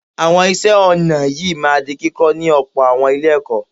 Àwọn iṣẹ́ ọnà yìí máa di kíkọ́ ní ọ̀pọ̀ àwọn Ilé-ẹ̀kọ́